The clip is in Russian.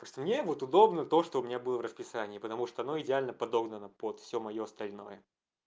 просто мне будет вот удобно то что у меня было в расписание потому что оно идеально подогнано под всё моё остальное